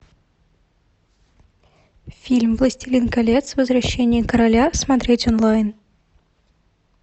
фильм властелин колец возвращение короля смотреть онлайн